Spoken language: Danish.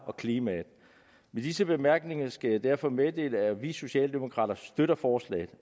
og klimaet med disse bemærkninger skal jeg derfor meddele at vi socialdemokrater støtter forslaget